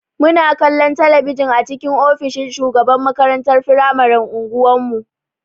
Muna kallon talabijin a cikin ofishin shugaban makarantar firamaren unguwan mu.